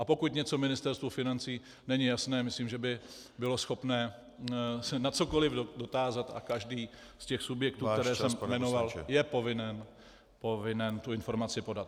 A pokud něco Ministerstvu financí není jasné, myslím, že by bylo schopné se na cokoliv dotázat a každý z těch subjektů, které jsem jmenoval, je povinen tu informaci podat.